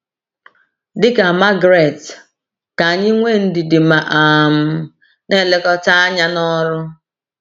Dị ka Margaret, ka anyị nwee ndidi ma um na-elekọta anya n’ọrụ.